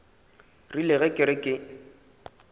rile ge ke re ke